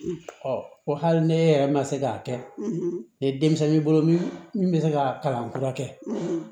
Ɔ ko hali ni e yɛrɛ ma se k'a kɛ ni denmisɛnnin y'i bolo min bɛ se ka kalan kura kɛ